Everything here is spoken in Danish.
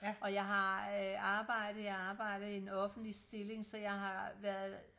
og jeg har arbejde jeg arbejder i en offentlig stilling så jeg har været